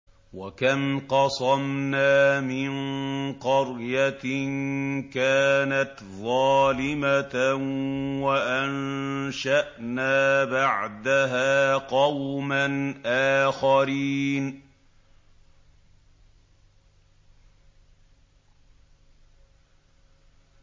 وَكَمْ قَصَمْنَا مِن قَرْيَةٍ كَانَتْ ظَالِمَةً وَأَنشَأْنَا بَعْدَهَا قَوْمًا آخَرِينَ